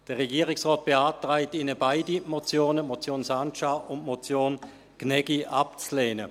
Der Regierungsrat beantragt Ihnen, beide Motionen, die Motion Sancar und die Motion Gnägi abzulehnen.